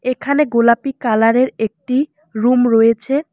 এখানে গোলাপি কালারের একটি রুম রয়েছে।